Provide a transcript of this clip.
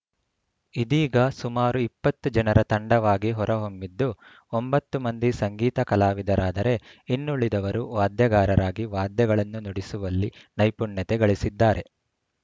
ಇದೀಗ ಸುಮಾರು ಇಪ್ಪತ್ತು ಜನರ ತಂಡವಾಗಿ ಹೊರಹೊಮ್ಮಿದ್ದು ಒಂಬತ್ತು ಮಂದಿ ಸಂಗೀತ ಕಲಾವಿದರಾದರೆ ಇನ್ನುಳಿದವರು ವಾದ್ಯಗಾರರಾಗಿ ವಾದ್ಯಗಳನ್ನು ನುಡಿಸುವಲ್ಲಿ ನೈಪುಣ್ಯತೆ ಗಳಿಸಿದ್ದಾರೆ